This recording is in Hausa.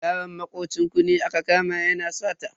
Yaron makocin ku ne aka kama yana sata.